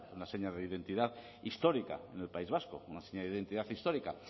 una seña de identidad histórica en el país vasco una seña de identidad histórica